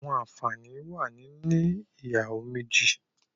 There are benefits of having two wives